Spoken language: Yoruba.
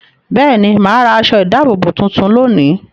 Bẹ́ẹ̀ ni, mà á ra aṣọ-ìdáàbòbò tuntun lónìí.